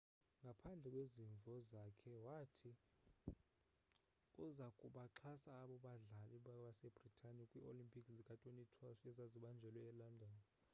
ngaphandle kwezimvo zakhe wathi uza kubaxhasa abo badlali basebritane kwii-olimpiki zika-2012 ezazibanjelwe elondon